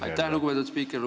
Aitäh, lugupeetud spiiker!